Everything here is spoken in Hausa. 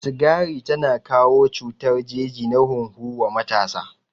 Sigari tana kawo cutar jeji na hunhu wa matasa